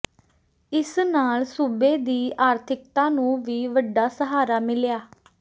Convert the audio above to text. ਇਸ ਨਾਲ ਸੂਬੇ ਦੀ ਆਰਥਿਕਤਾ ਨੂੰ ਵੀ ਵੱਡਾ ਸਹਾਰਾ ਮਿਲਿਆ